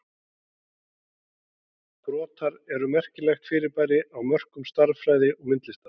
Brotar eru merkilegt fyrirbæri á mörkum stærðfræði og myndlistar.